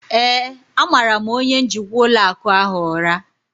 ee, a mara' m onye njikwa ụlọ akụ ahụ ụra